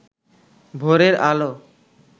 ভোরের আলো